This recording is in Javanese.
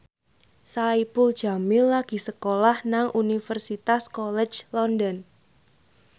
Saipul Jamil lagi sekolah nang Universitas College London